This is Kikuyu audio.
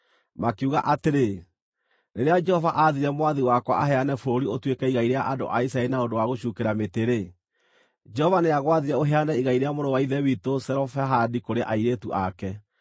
Makiuga atĩrĩ, “Rĩrĩa Jehova aathire mwathi wakwa aheane bũrũri ũtuĩke igai rĩa andũ a Isiraeli na ũndũ wa gũcuukĩra mĩtĩ-rĩ, Jehova nĩagwathire ũheane igai rĩa mũrũ wa ithe witũ Zelofehadi kũrĩ airĩtu ake.